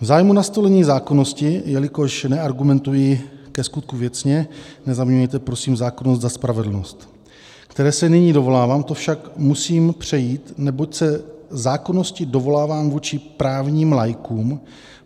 V zájmu nastolení zákonnosti, jelikož neargumentuji ke skutku věcně, nezaměňujte prosím zákonnost za spravedlnost, které se nyní dovolávám, to však musím přejít, neboť se zákonnosti dovolávám vůči právním laikům.